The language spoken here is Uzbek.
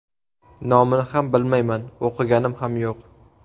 Nomini ham bilmayman, o‘qiganim ham yo‘q.